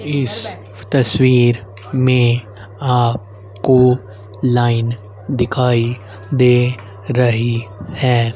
इस तस्वीर में आप को लाइन दिखाई दे रहीं हैं।